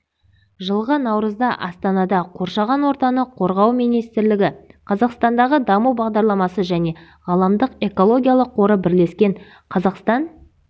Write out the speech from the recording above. жылғы наурызда астанада қоршаған ортаны қорғау министрлігі қазақстандағы даму бағдарламасы және ғаламдық экологиялық қоры бірлескен қазақстан